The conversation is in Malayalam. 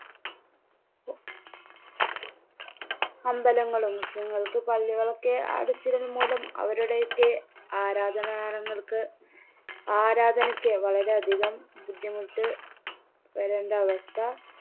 അമ്പലങ്ങളും മുസ്ലീംങ്ങൾക്ക് പള്ളികളൊക്കെ അടച്ചതുമൂലം അവരുടെയൊക്കെ ആരാധനാലയങ്ങൾക്ക് ആരാധനക്ക് വളരെ അധികം ബുദ്ധിമുട്ട് വരേണ്ട അവസ്ഥ